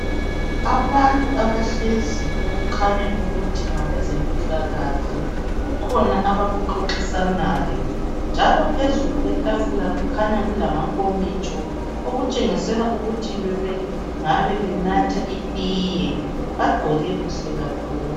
Abantu abahlezi okukhanya ukuthi ngabezempilakahle kukhona abakuxoxisanayo njalo phezulu kwetafula kukhanya kulamankomitsho okutshengisela ukuthi bengabe benatha itiye bagqoke kahle kakhulu.